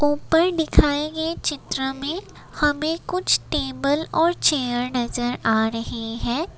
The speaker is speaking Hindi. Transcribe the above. ऊपर दिखाए गए चित्र में हमें कुछ टेबल और चेयर नजर आ रही है।